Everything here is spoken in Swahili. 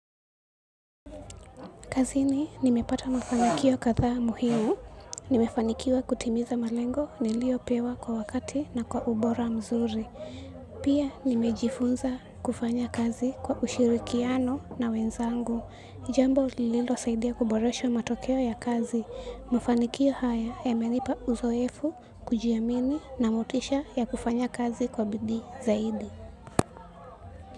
Kazini nimepata mafanikio kadhaa muhimu, nimefanikiwa kutimiza malengo niliyopewa kwa wakati na kwa ubora mzuri. Pia nimejifunza kufanya kazi kwa ushirikiano na wenzangu. Jambo lililo saidia kuboresha matokeo ya kazi. Mafanikio haya yamenipa uzoefu, kujiamini na motisha ya kufanya kazi kwa bidii zaidi.